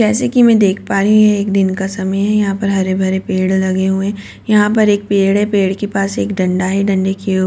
जैसे कि मैं देख पा रही हूं ये एक दिन का समय है यहां पर हरे भरे पेड़ लगे हुए हैं यहां पर एक पेड़ है पेड़ के पास एक डंडा है डंडे की --